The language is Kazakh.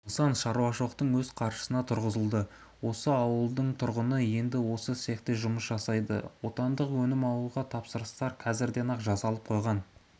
нысан шаруашылықтың өз қаржысына тұрғызылды ауылдың тұрғыны енді осы цехте жұмыс жасайды отандық өнімді алуға тапсырыстар қазірден-ақ жасалып қойған